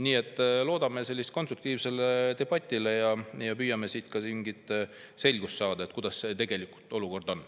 Nii et loodame konstruktiivset debatti ja püüame mingit selgust saada, kuidas olukord tegelikult on.